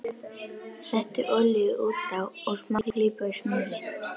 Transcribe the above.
Settu olíu út á og smá klípu af smjöri.